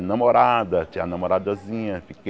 Namorada, tinha namoradozinha.